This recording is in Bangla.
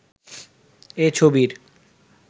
এ ছবির